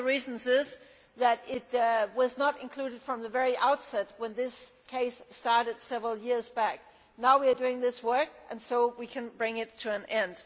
One of the reasons is that it was not included from the very outset when this case started several years back. Now we are doing this work and so we can bring it to an end.